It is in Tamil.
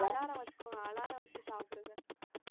alarm வச்சுக்கோங்க alarm வச்சு சாப்பிடுங்க